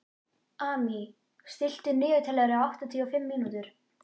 Amy, stilltu niðurteljara á áttatíu og fimm mínútur.